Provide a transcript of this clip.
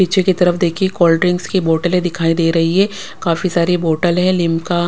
पीछे की तरफ देखिए कोल्ड्रिंक्स की बोटले दिखाई दे रही है काफी सारी बोटल है लिमका --